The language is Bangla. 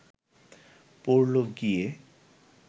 পড়ল গিয়ে